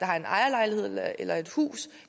har en ejerlejlighed eller et hus